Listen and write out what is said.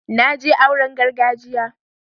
na je auren gargajiya